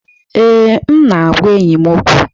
Ee, m na-agwa enyi m okwu.